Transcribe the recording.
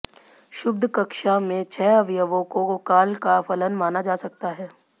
क्षुब्ध कक्षा में छह अवयवों को काल का फलन माना जा सकता है